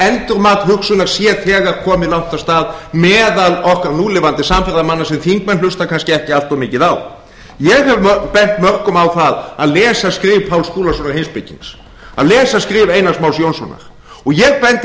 endurmat hugsunar sé þegar komið langt af stað meðal okkar núlifandi samferðamanna sem þingmenn hlusta kannski ekki allt of mikið á ég hef bent mörgum á það að lesa skrif páls skúlasonar heimspekings að lesa skrif einars más jónssonar og ég bendi